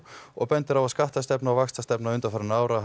og bendi á að skattastefna og vaxtastefna undanfarinna ára